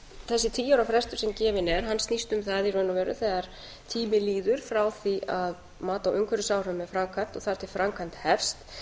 þessi tíu ára frestur sem gefinn er hann snýst um það í raun og veru þegar tími líður frá því að mat á umhverfisáhrifum er framkvæmt og þar til framkvæmd hefst